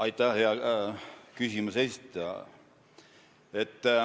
Aitäh, hea küsimuse esitaja!